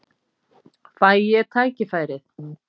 Fæ ég tækifærið?